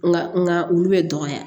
Nka olu bɛ dɔgɔya